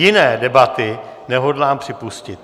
Jiné debaty nehodlám připustit.